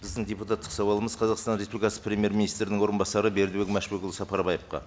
біздің депутаттық сауалымыз қазақстан республикасы премьер министрдің орынбасары бердібек машбекұлы сапарбаевқа